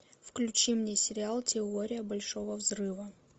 включи мне сериал теория большого взрыва